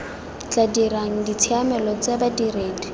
tla dirang ditshiamelo tse badiredi